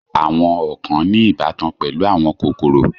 Àwọn ọ̀kàn ní ìbátan pẹ̀lú àwọn kòkòrò.